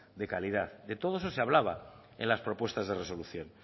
de calidad de todo eso se hablaba en las propuestas de resolución